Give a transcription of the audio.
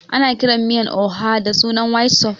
Ana kiran miyan oha da sunan white soup